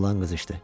Oğlan qızışdı.